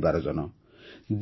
ମୋର ପରିବାରଜନ